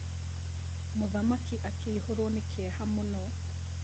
mũthamaki akĩihũrwo nĩ kĩeha mũno.